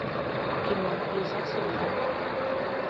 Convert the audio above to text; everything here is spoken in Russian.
кино в лесах сибири